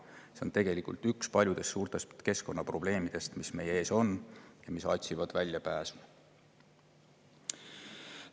See on tegelikult üks paljudest suurtest keskkonnaprobleemidest, mis meie ees.